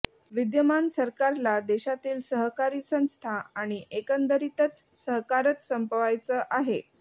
विद्यमान सरकारला देशातील सहकारी संस्थां आणि एकंदरीतच सहकारच संपवायचा आहे